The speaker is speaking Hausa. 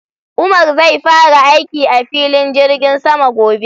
Umar zai fara aiki a filin jirgin sama gobe